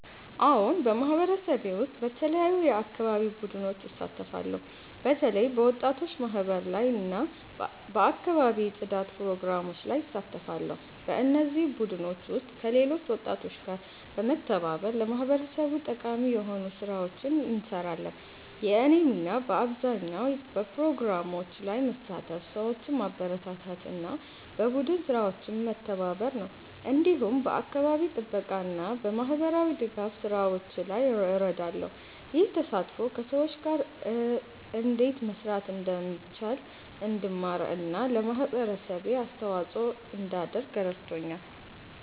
አዎን፣ በማህበረሰቤ ውስጥ በተለያዩ የአካባቢ ቡድኖች እሳተፋለሁ። በተለይ በወጣቶች ማህበር እና በአካባቢ ጽዳት ፕሮግራሞች ላይ እሳተፋለሁ። በእነዚህ ቡድኖች ውስጥ ከሌሎች ወጣቶች ጋር በመተባበር ለማህበረሰቡ ጠቃሚ የሆኑ ስራዎችን እንሰራለን። የእኔ ሚና በአብዛኛው በፕሮግራሞች ላይ መሳተፍ፣ ሰዎችን ማበረታታት እና በቡድን ስራዎች መተባበር ነው። እንዲሁም በአካባቢ ጥበቃ እና በማህበራዊ ድጋፍ ስራዎች ላይ እረዳለሁ። ይህ ተሳትፎ ከሰዎች ጋር እንዴት መስራት እንደሚቻል እንድማር እና ለማህበረሰቤ አስተዋጽኦ እንዳደርግ ረድቶኛል።